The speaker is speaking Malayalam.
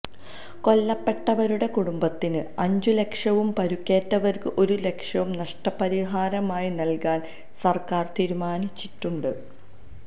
കൊല്ലപ്പെട്ടവരുടെ കുടുംബത്തിന് അഞ്ചു ലക്ഷവും പരുക്കേറ്റവര്ക്ക് ഒരു ലക്ഷവും നഷ്ടപരിഹാരമായി നല്കാന് സര്ക്കാര് തീരുമാനിച്ചിട്ടുണ്ട്